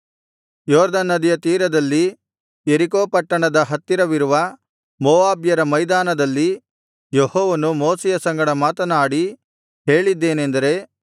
ಯೊರ್ದನ್ ನದಿಯ ತೀರದಲ್ಲಿ ಯೆರಿಕೋ ಪಟ್ಟಣದ ಹತ್ತಿರವಿರುವ ಮೋವಾಬ್ಯರ ಮೈದಾನದಲ್ಲಿ ಯೆಹೋವನು ಮೋಶೆಯ ಸಂಗಡ ಮಾತನಾಡಿ ಹೇಳಿದ್ದೇನೆಂದರೆ